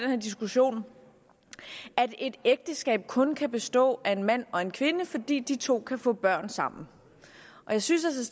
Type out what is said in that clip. her diskussion at et ægteskab kun kan bestå af en mand og en kvinde fordi de to kan få børn sammen jeg synes